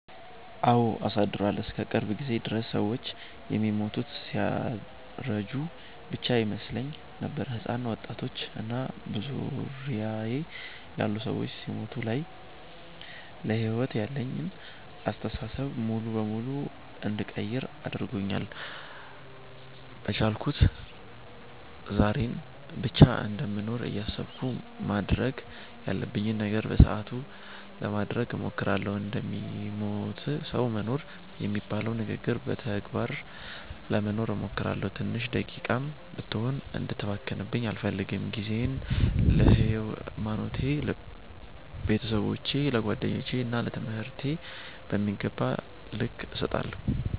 አወ አሳድሯል። እስከ ቅርብ ጊዜ ድረስ ሰወች የሚሞቱት ሲያረጁ ብቻ ይመስለኝ ነበር። ህጻናት፣ ወጣቶች እና በዙሪያየ ያሉ ሰዎች ሲሞቱ ሳይ ለሕይወት ያለኝን አስተሳሰብ ሙሉ በሙሉ እንድቀይር አድርጎኛል። በቻልኩት ዛሬን ብቻ እንደምኖር እያሰብኩ ማድረግ ያለብኝን ነገር በሰአቱ ለማድረግ እሞክራለሁ። እንደሚሞት ሰዉ መኖር የሚባለውን ንግግር በተግባር ለመኖር እሞክራለሁ። ትንሽ ደቂቃም ብትሆን እንድትባክንብኝ አልፈልግም። ጊዜየን ለሀይማኖቴ፣ ለቤተሰቦቼ፣ ለጓደኞቼ እና ለትምህርቴ በሚገባቸዉ ልክ እሰጣለሁ።